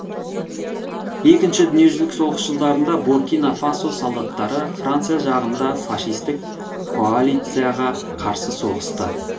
екінші дүниежүзілік соғыс жылдарында буркина фасо солдаттары франция жағында фашистік коалицияға қарсы соғысты